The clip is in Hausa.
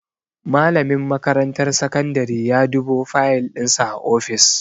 Malamin makarantar sakandare ya dubo fayal dinsa a ofis.